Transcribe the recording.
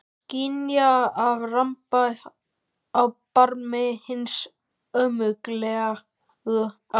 Skynja að ég ramba á barmi hins ómögulega.